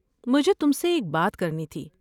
مجھے تم سے ایک بات کرنی تھی۔